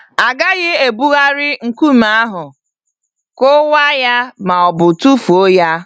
A gaghị ebugharị nkume ahụ, kụwaa ya ma ọ bụ tụfuo ya.